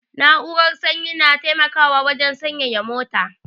Na'urar sanyi na taimakawa wajan sanyaya mota